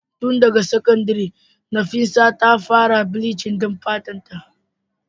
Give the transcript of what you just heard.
Tun daga sakandire Nafisa ta fara bleaching din fatarta.